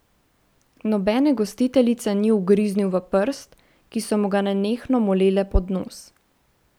Nobene gostiteljice ni ugriznil v prst, ki so mu ga nenehno molele pod nos.